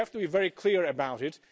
We have to be very clear about it.